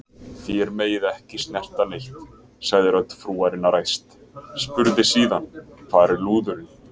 Þér megið ekki snerta neitt, sagði rödd frúarinnar æst, spurði síðan: Hvar er lúðurinn?